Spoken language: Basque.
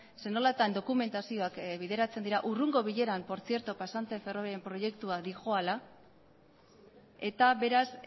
zer nolatan dokumentazioak bideratzen dira urrungo bileran por tzierto pasante ferrobaria proiektua doala eta beraz